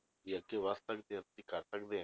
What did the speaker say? ਕਿ ਅੱਗੇ ਵੱਧ ਸਕਦੇ ਹੋ ਤੁਸੀਂ ਕਰ ਸਕਦੇ,